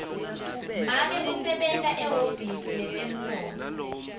make usebenta ehhovisi letemnotfo